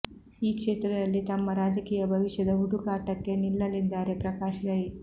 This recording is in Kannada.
ಈ ಕ್ಷೇತ್ರದಲ್ಲಿ ತಮ್ಮ ರಾಜಕೀಯ ಭವಿಷ್ಯದ ಹುಡುಕಾಟಕ್ಕೆ ನಿಲ್ಲಲಿದ್ದಾರೆ ಪ್ರಕಾಶ್ ರೈ